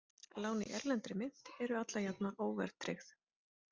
Lán í erlendri mynt eru alla jafna óverðtryggð.